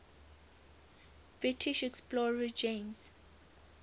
british explorer james